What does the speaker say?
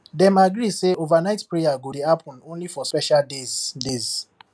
dem agree say overnight prayer go dey happen only for special days days